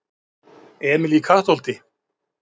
Emil í Kattholti